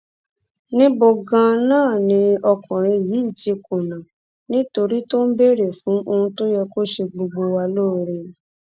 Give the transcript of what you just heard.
níbo ganan ni ọkùnrin yìí ti kùnà nítorí tó ń béèrè fún ohun tó yẹ kó ṣe gbogbo wa lóore